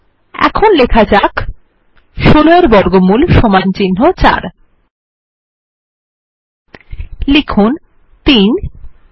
এখন লেখা যাক ১৬ এর বর্গমূল সমান চিহ্ন ৪ লিখুন 3